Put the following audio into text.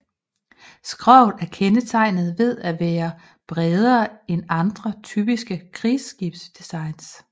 Skroget er kendetegnet ved at være bredere end andre typiske krigsskibsdesigns